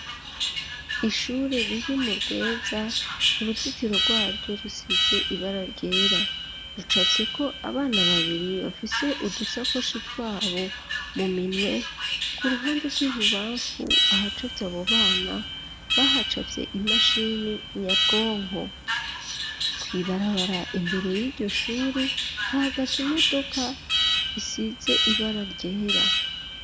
Ishure, riri mu Rweza, uruzitiro rwaryo, rusize ibara ryera, rucafyeko, abana babiri, bafise udusakoshi, twabo, mu minwe; ku ruhande rw'ibubamfu, ahacafye abo bana, bahacafye, imashini nyabwonko; kw'ibarabara, imbere y'iryo shuri, hahagaze imodoka, isize ibara ryera.